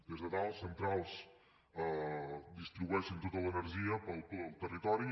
des de dalt centrals distribueixen tota l’energia pel territori